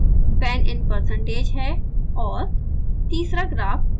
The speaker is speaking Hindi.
दूसरा ग्राफ fan in percentage है और